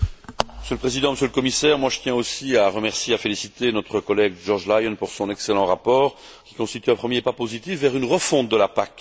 Monsieur le Président, Monsieur le Commissaire, je tiens aussi à remercier et à féliciter notre collègue, George Lyon, pour son excellent rapport, qui constitue un premier pas positif vers une refonte de la PAC.